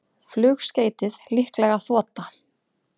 Flugskeytið líklega þota